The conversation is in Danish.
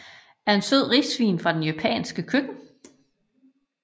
er en sød risvin fra det japanske køkken